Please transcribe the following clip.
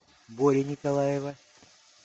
бори николаева